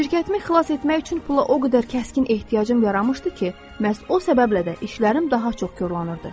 Şirkətimi xilas etmək üçün pula o qədər kəskin ehtiyacım yaranmışdı ki, məhz o səbəblə də işlərim daha çox korlanırdı.